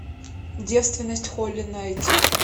девственность холли найти